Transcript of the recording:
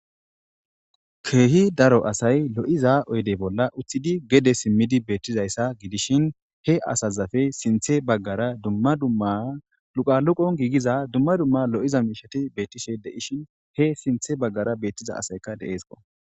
Keehi daro asay lo'iza oydey bolla uththidi gede simmidi beettizayssa gidishin he asazafe sinthe baggara dumma dumma luqaluqon giigiza dumma dumma lo'iza miishati beettishe de'ishin he sinthe baggara bettiza asayka deeesko.